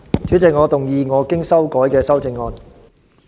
主席，我動議我經修改的修正案。